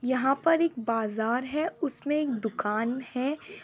यहां पर एक बाजार है उसमें एक दुकान है।